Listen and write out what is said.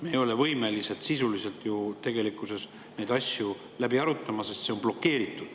Me ei ole võimelised sisuliselt ju tegelikkuses neid asju läbi arutama, sest see on blokeeritud.